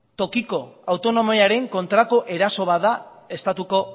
tokiko autonomiaren kontrako eraso bat da estatuko